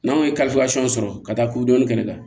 N'anw ye sɔrɔ ka taa kuludɔni kɛnɛ kan